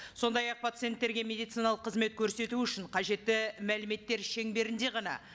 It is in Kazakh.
сондай ақ пациенттерге медициналық қызмет көрсету үшін қажетті мәліметтер шеңберінде ғана